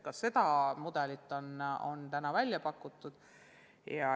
Ka seda mudelit on välja pakutud.